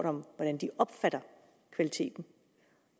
om hvordan de opfatter kvaliteten